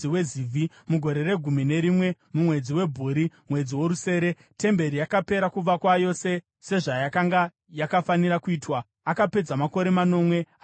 Mugore regumi nerimwe mumwedzi waBhuri, mwedzi worusere, temberi yakapera kuvakwa yose sezvayakanga yakafanira kuitwa. Akapedza makore manomwe achiivaka.